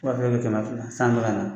Waa kelen ni kɛmɛ fila san bɛka na